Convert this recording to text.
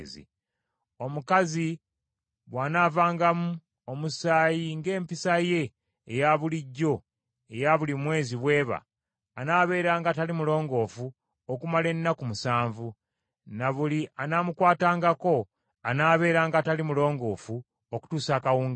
“Omukazi bw’anaavangamu omusaayi ng’empisa ye eya bulijjo eya buli mwezi bw’eba, anaabeeranga atali mulongoofu okumala ennaku musanvu, ne buli anaamukwatangako anaabeeranga atali mulongoofu okutuusa akawungeezi.